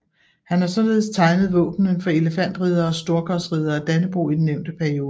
Han har således tegnet våbnene for Elefantriddere og Storkorsriddere af Dannebrog i den nævnte periode